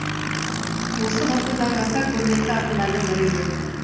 осы ғасырдағы аса көрнекті ақындардың бірі еді